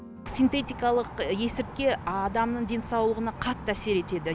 синтетикалық есірткі адамның денсаулығына қатты әсер етеді